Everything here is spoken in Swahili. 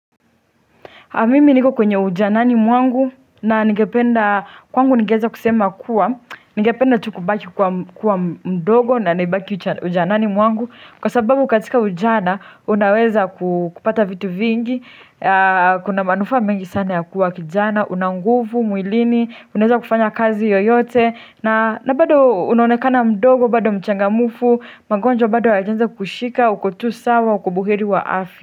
Mimi niko kwenye ujanani mwangu na ningependa, kwangu ningeweza kusema kuwa, ningependa tu kubaki kuwa mdogo na nibaki ujanani mwangu kwa sababu katika ujana unaweza kupata vitu vingi, kuna manufaa mengi sana ya kuwa kijana, una nguvu mwilini, unaweza kufanya kazi yoyote na na bado unaonekana mdogo, bado mchangamfu, magonjwa bado hayajaanza kushika uko tu sawa uko buheri wa afya.